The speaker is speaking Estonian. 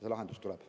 See lahendus tuleb.